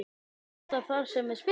Er þetta þar sem við spilum?